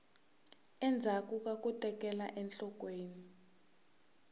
endzhaku ka ku tekela enhlokweni